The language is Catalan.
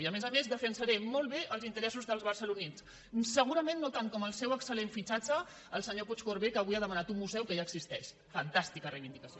i a més a més defensaré molt bé els interessos dels barcelonins segurament no tant com el seu excel·lent fitxatge el senyor puigcorbé que avui ha demanat un museu que ja existeix fantàstica reivindicació